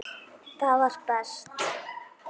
Það var best.